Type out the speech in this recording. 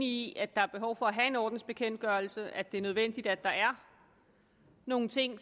i at der er behov for at have en ordensbekendtgørelse at det er nødvendigt at der er nogle ting